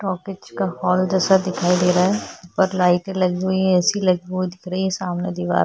talkies का hall जैसा दिखाई दे रहा है और लाइट लगी हुई ऐसी लगी हुई दिख रही है सामने दीवार--